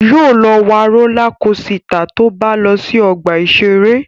Yóò wa rólá kosità tó bá lọ sí ọgbà-ìṣeré